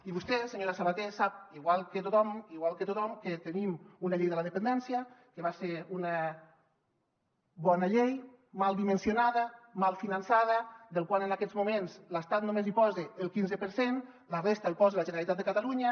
i vostè senyora sabater sap igual que tothom igual que tothom que tenim una llei de la dependència que va ser una bona llei mal dimensionada mal finançada en la qual en aquests moments l’estat només hi posa el quinze per cent la resta l’hi posa la generalitat de catalunya